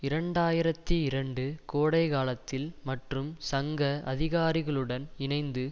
இரண்டு ஆயிரத்தி இரண்டு கோடைகாலத்தில் மற்றும் சங்க அதிகாரிகளுடன் இணைந்து